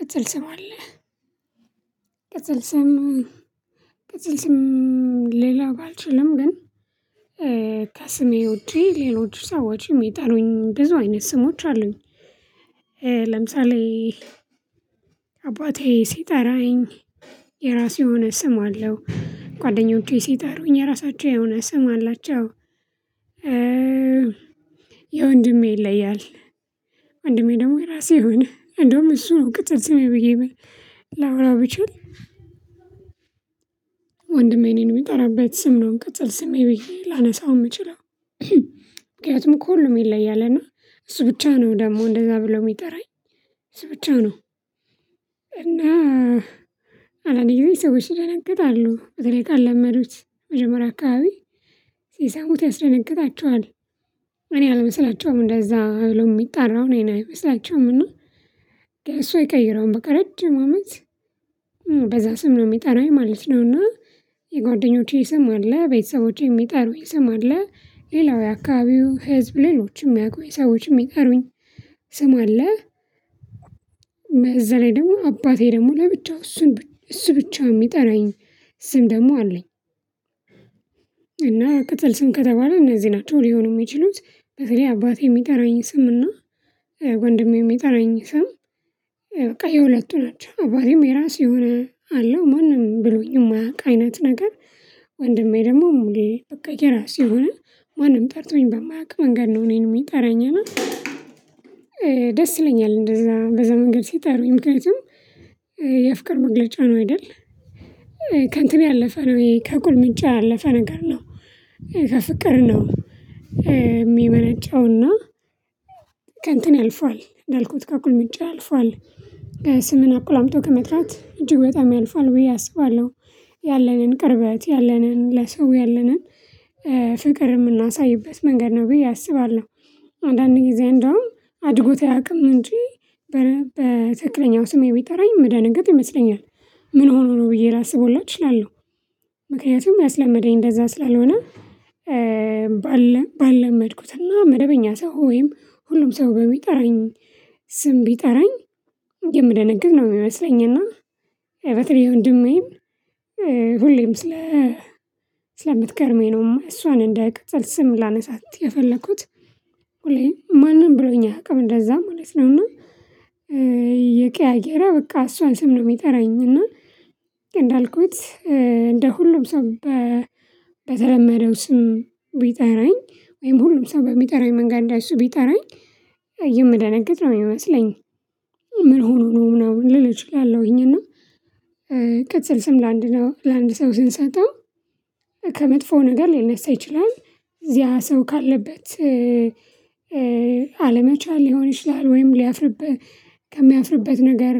ቅጽል ስም አለህ ቅጽል ስም ቅጽል ስም ሌላ ባልችልም ግን ከስሜ ውጪ ሌሎች ሰዎች የሚጠሩኝ ብዙ አይነት ስሞች አሉኝ። ለምሳሌ አባቴ ሲጠራኝ የራሱ የሆነ ስም አለው ጓደኞቼ ሲጠሩኝ የራሳቸው የሆነ ስም አላቸው። የወንድሜ ይለያል ወንድሜ ደግሞ የራሱ የሆነ እንደውም እሱ ነው ቅጽል ስም ብዬ ላወራው ብችል። ወንድሜ እኔን የሚጠራበት ስም ነው ቅጽል ስሜ ብዬ ላነሳው የምችለው። ምክንያቱም ከሁሉም ይለያል እና እሱ ብቻ ነው ደግሞ እንደዛ ብሎ የሚጠራኝ እሱ ብቻ ነው እና። አንዳንዴ ደግሞ ሰዎች ይደነግጣሉ እንግዲህ ካልለመዱት መጀመሪያ አካባቢ ሲሰሙት ያስደነግጣቸዋል እኔ አልመስላቸውም እንደዛ ብሎ የሚጠራው እኔን አይመስላቸውም። እና እሱ አይቀይረውም በቃ ረጅም አመት በዛ ስም ነው የሚጠራኝ ማለት ነው። እና የጓደኞቼ ስም አለ ቤተሰቦቼ የሚጠሩኝ ስም አለ ሌላው የአካባቢው ህዝብ ሌሎችም የሚያውቁኝ ሰዎችም የሚጠሩኝ ስም አለ። እዛ ላይ ደግሞ አባቴ ደግሞ ለብቻው እሱን እሱ ብቻ የሚጠራኝ ስም ደግሞ አለ። እና ቅጽል ስም ከተባለ እነዚህ ናቸው ሊሆኑ የሚችሉት በተለይ አባቴ የሚጠራኝ ስም እና ወንድሜ የሚጠራኝ ስም። የሁለቱ ናቸው አባቴም የራሱ የሆነ አለው ማንም ብሎኝ የማያውቅ አይነት ነገር። ደግሞ በቃ የራሱ ሆነ ማንም ጠርቶኝ በማያውቅ መንገድ ነው እኔን የሚጠራኝ እና ደስ ይለኛል እንደዛ በዛ መንገድ ሲጠሩኝ ምክንያቱም የፍቅር መግለጫ ነው አይደል። ከእንትን ያለፈ ነው ከቁልምጫ ያለፈ ነገር ነው ከፍቅር ነው የሚመነጨው እና ከእንትን አልፏል እንዳልኩት ከቁልምጫ አልፏል። ስምን አቁላምጠው ከመጥራት እጅግ በጣም ያልፋል ብዬ አስባለሁ ያለንን ቅርበት ያለንን ለሰው ያለንን ፍቅር የምናሳይበት መንገድ ነው ብዬ አስባለሁ። አንዳንድ ጊዜ እንደውም አድርጎት አያውቅም እንጂ በትክክለኛው ስሜ ቢጠራኝ የምደነገጥ ይመስለኛል ምን ሆኖ ነው ብዬ ላስብ ሁላ እችላለሁ ምክንያቱም ያስለመደኝ እንደዛ ስላልሆነ። ባለመድኩትና መደበኛ ሰው ወይም ሁሉም ሰው በሚጠራኝ ስም ቢጠራኝ የምደነግጥ ነው የሚመስለኝ እና በተለይ ወንድሜም ሁሌም ስለምትገርመኝ ነው እሷን እንደ ቅጽቅ ስም ላነሳት የፈለኩት ማንም ብሎኝ አያውቅም እንደዛ ማለት ነው እና። እየቀያየረ በቃ እሷን ስም ነው የሚጠራኝ እና እንዳልኩት እንደ ሁሉም ሰው በተለመደው ስም ቢጠራኝ ወይም ሁሉም ሰው በሚጠራኝ መንገድ እንደሱ ቢጠራኝ የምደነግጥ ነው የሚመስለኝ። ምን ሆኖ ነው ምናምን ልል እችላለሁኝ እና ቅጽል ስም ለአንድ ሰው ለአንድ ሰው ስንሰጠው ነገር ሊነሳ ይችላል። እዚያ ሰው ካለበት አለመቻል ሊሆን ይችላል ወይም ሊያፍርበት ከሚያፍርበት ነገር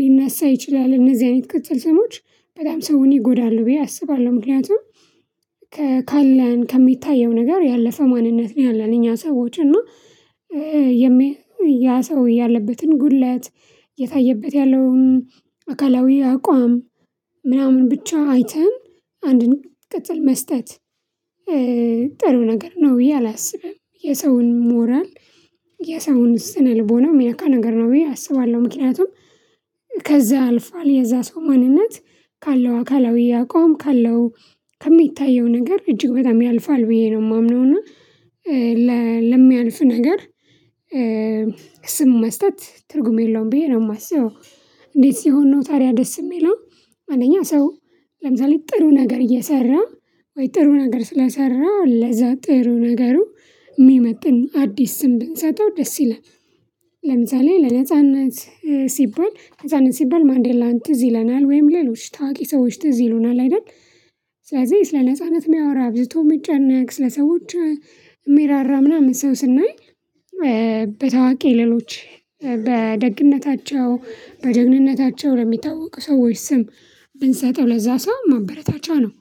ሊነሳ ይችላል እነዚህ አይነት ቅጽል ሰሞች በጣም ሰውን ይጎዳሉ ብዬ አስባለሁ። ምክንያቱም ካለን ከሚታየው ነገር ያለፈ ማንነት ነው ያለን እኛ ሰዎች እና ያ ሰው ያለበትን ጉድለት እየታየበት ያለውን አካላዊ አቋም ምናምን ብቻ አይተን አንድን ቅጽል መስጠት ጥሩ ነገር ነው ብዬ አላስብም። የሰውን ሞራል የሰውን ስነ ልቦና የሚነካ ነገር ነው ብዬ አስባለሁ። ምክንያቱም ከዛ አልፏል የዛ ሰው ማንነት ካለው አካላዊ አቋም ካለው ከሚታየው ነገር እጅግ በጣም ያልፋል ብዬ ነው የማምነው እና ለሚያልፍ ነገር ስም መስጠት ትርጉም የለውም ብዬ ነው የማስበው። እንዴት ሲሆን ነው ታዲያ ደስ የሚለው አንደኛ ሰው ለምሳሌ ጥሩ ነገር እየሰራ ወይም ጥሩ ነገር ስለሰራ ለዛ ጥሩ ነገሩ የሚመጥን አዲስ ስም ብንሰጠው ደስ ይላል። ለምሳሌ ለነጻነት ሲባል ነጻነት ሲባል ማንዴላ ትዝ ይለናል ወይም ሌሎች ታዋቂ ሰዎች ትዝ ይሉናል አይደል። ስለዚህ ስለ ነጻነት የሚያወራ አብዝቶ የሚጨነቅ ስለ ሰዎች ሚራራ ምናምን ሰው ስናይ በታዋቂ ሌሎች በደግነታቸው በደህንነታቸው በሚታወቁ ሰዎች ስም ብንሰጠው ለዛ ሰው ማበረታቻ ነው።